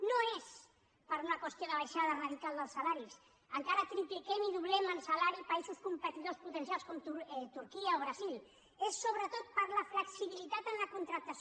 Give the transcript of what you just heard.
no és per una qüestió de baixada radical dels salaris encara tripliquem i doblem en salari països competidors potencials com turquia o el brasil és sobretot per la flexibilitat en la contractació